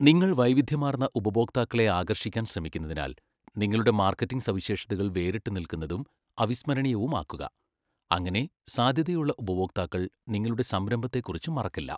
നിങ്ങൾ വൈവിധ്യമാർന്ന ഉപഭോക്താക്കളെ ആകർഷിക്കാൻ ശ്രമിക്കുന്നതിനാൽ, നിങ്ങളുടെ മാർക്കറ്റിംഗ് സവിശേഷതകൾ വേറിട്ടുനിൽക്കുന്നതും അവിസ്മരണീയവുമാക്കുക, അങ്ങനെ സാധ്യതയുള്ള ഉപഭോക്താക്കൾ നിങ്ങളുടെ സംരംഭത്തെക്കുറിച്ച് മറക്കില്ല.